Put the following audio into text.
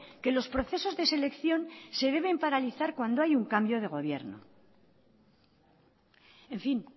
que los procesos de selección se deben paralizar cuando hay un cambio de gobierno en fin